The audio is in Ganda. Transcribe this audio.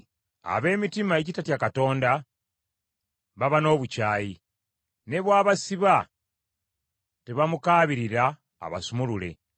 “Ab’emitima egitatya Katonda baba n’obukyayi. Ne bw’abasiba, tebamukaabirira abasumulule.